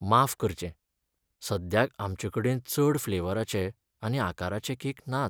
माफ करचें, सद्याक आमचेंकडेन चड फ्लेवराचे आनी आकाराचे केक नात.